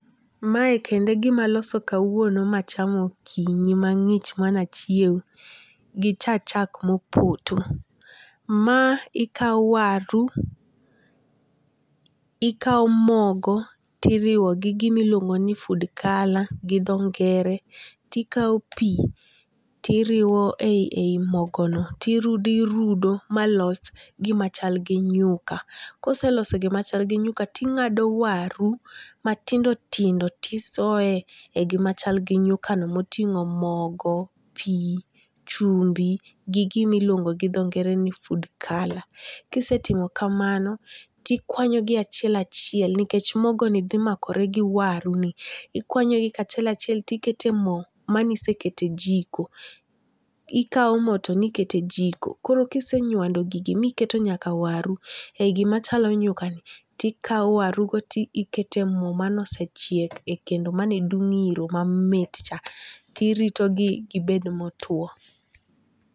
Mae kendo e gima aloso kawuono machamo okinyi mang'ich manachiew gi cha chak mopoto. Ma ikaw waru, ikaw mogo tiriw di dimiluongo ni food color gi dho ngere. Ti kaw pi tiriw e yi mogo no. Tirudo irudo irudo ma los gima chal gi nyuka. Koseloso gima chal gi nyuka ting'ado waru matindo tindo tisoye e gima chal gi nyuka no moting'o mogo, pi, chumbi gi gimiluongo gi dho ngere ni food color. Kisetimo kamano, tikwanyo gi achiel achiel nikech mogo ni dhimakore gi waru ni. Okwanyogi achiel achiel tikete mo manisekete jiko. Ikwa mo to nikete jiko. Koro kisenywando gigi mikete nyaka waru e gima chalo nyuka ni, tikwa waru go tikete mo manosechiek e kendo mane dung' iro mamit tirito gibed motuo.